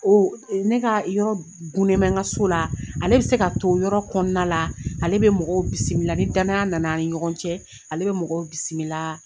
Ne ka yɔrɔ gunnen bɛ n ka so la ,ale bɛ se ka to yɔrɔ kɔnɔna la, ale bɛ mɔgɔw bisimila ni danaya nana ani ɲɔgɔn cɛ, ale bɛ mɔgɔw bisimila.